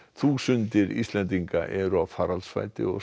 þúsundir Íslendinga eru á faraldsfæti og